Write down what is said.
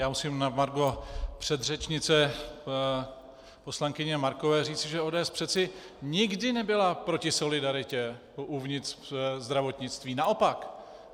Já musím na margo předřečnice poslankyně Markové říci, že ODS přece nikdy nebyla proti solidaritě uvnitř zdravotnictví, naopak.